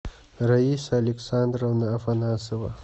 раиса александровна афанасова